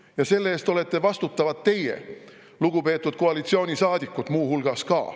Ja selle eest olete vastutavad muu hulgas ka teie, lugupeetud koalitsioonisaadikud.